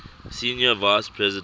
senior vice president